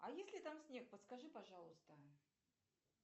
а есть ли там снег подскажи пожалуйста